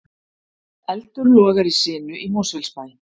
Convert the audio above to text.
Eldur logar í sinu í Mosfellsbæ